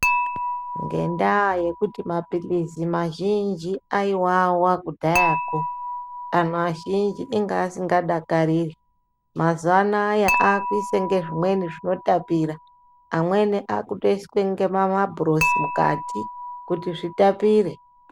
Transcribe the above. Ngendaa yokuti mapilirsi mazhinji ayiwawa kudhayako anhu azhinji anenge anga asingadakariri mazuva naya akuise zvinwe zvinotapira amweni akutoise nemamabhurosi mukati kuti zvitapire.